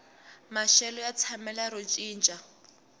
maxelo ya tshamela ro cinca